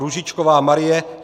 Růžičková Marie